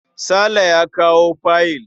Sale ya kawo fayil.